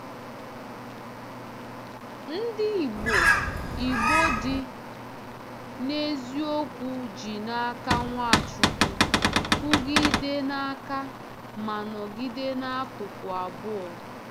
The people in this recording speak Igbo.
Ndị Igbo Igbo dị n’eziokwu ji n’aka Nwachukwu kwụgidee n’aka ma nọgide n’akụkụ abụọ.